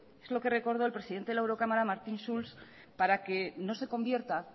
es lo que recordó el presidente de la eurocamara martin schulz para que no se convierta